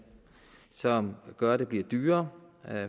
som gør at det bliver dyrere